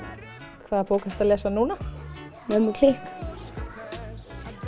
hvaða bók ertu að lesa núna mömmu klikk